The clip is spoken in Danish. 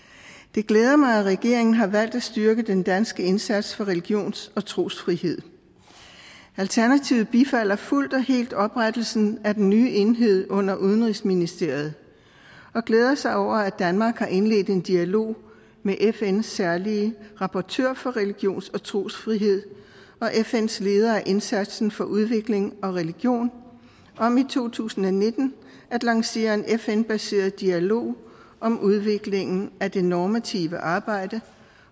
det glæder mig at regeringen har valgt at styrke den danske indsats for religions og trosfrihed alternativet bifalder fuldt og helt oprettelsen af den nye enhed under udenrigsministeriet og glæder sig over at danmark har indledt en dialog med fns særlige rapportør for religions og trosfrihed og fns leder af indsatsen for udvikling og religion om i to tusind og nitten at lancere en fn baseret dialog om udviklingen af det normative arbejde